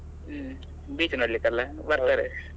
ಹ್ಮ್, beach ನೋಡ್ಲಿಕ್ಕೆ ಅಲ್ಲಾ ಬರ್ತಾರೆ.